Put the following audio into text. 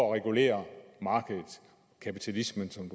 at regulere markedet kapitalismen som